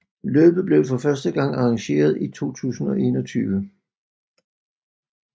Løbet blev for første gang arrangeret i 2021